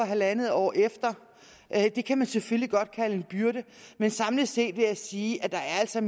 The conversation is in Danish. halvandet år efter det kan man selvfølgelig godt kalde en byrde men samlet set vil jeg sige at der altså